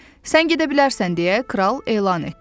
Sən gedə bilərsən, deyə Kral elan etdi.